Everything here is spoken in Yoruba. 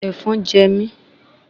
Èfọn je mi